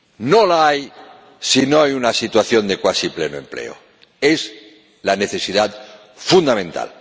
No la hay si no hay una situación de cuasi pleno empleo. Es la necesidad fundamental.